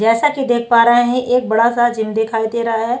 जैसा की देख पा रहे है एक बड़ा सा जिम दिखाई दे रहा है।